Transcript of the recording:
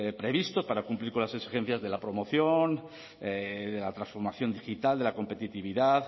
previstos para cumplir con las exigencias de la promoción de la transformación digital de la competitividad